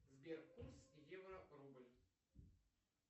сбер курс евро рубль